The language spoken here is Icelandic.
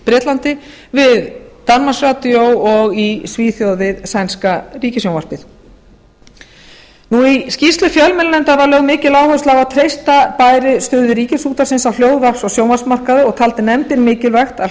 bretlandi við danmarks radio og í svíþjóð við sænska ríkissjónvarpið í skýrslu fjölmiðlanefndar var lögð mikil áhersla á að treysta bæði stöðu ríkisútvarpsins á hljóðvarps og sjónvarpsmarkaði og taldi nefndin mikilvægt að